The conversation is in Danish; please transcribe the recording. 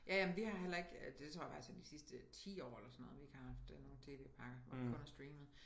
Ja ja men vi har heller ikke det tror jeg faktisk er de sidste 10 år eller sådan noget vi ikke har haft øh nogen TV-pakker hvor vi kun har streamet